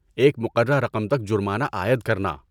ایک مقررہ رقم تک جرمانہ عائد کرنا۔